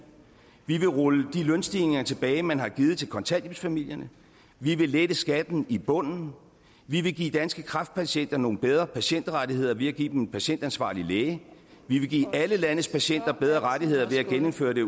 vi vil rulle de lønstigninger tilbage man har givet til kontanthjælpsfamilierne vi vil lette skatten i bunden vi vil give danske kræftpatienter nogle bedre patientrettigheder ved at give dem en patientansvarlig læge vi vil give alle landets patienter bedre rettigheder ved at gennemføre det